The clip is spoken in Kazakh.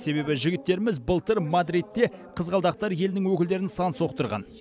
себебі жігіттеріміз былтыр мадридте қызғалдақтар елінің өкілдерін сан соқтырған